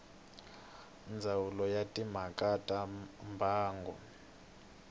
ndzawulo ya timhaka ta mbango